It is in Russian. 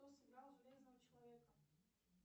кто сыграл железного человека